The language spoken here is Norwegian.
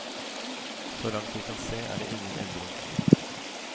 Så langt vi kan se er det ingen endring.